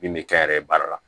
Min bɛ kɛ n yɛrɛ ye baara la